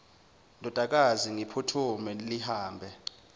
ndodakazi ngiphuthume lihambe